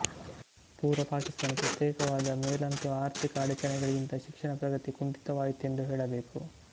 ಪೂರ್ವ ಪಾಕಿಸ್ತಾನ ಪ್ರತ್ಯೇಕವಾದ ಮೇಲಂತು ಆರ್ಥಿಕ ಅಡಚಣೆಗಳಿಂದ ಶಿಕ್ಷಣ ಪ್ರಗತಿ ಕುಂಠಿತವಾಯಿತೆಂದೇ ಹೇಳಬೇಕು